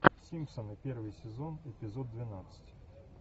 симпсоны первый сезон эпизод двенадцать